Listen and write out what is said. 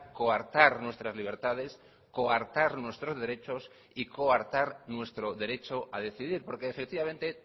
coartar nuestras libertades coartar nuestros derechos y coartar nuestro derecho a decidir porque efectivamente